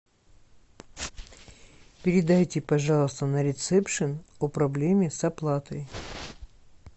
передайте пожалуйста на ресепшен о проблеме с оплатой